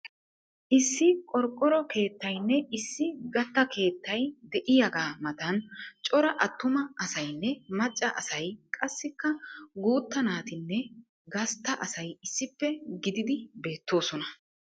Issi qorqqoro keettaynne issi gatta keettay de'iyagaa matan cora attuma asaynne macca asay qassikka guutta naatinne gastta asay issippe gididi beettoosona.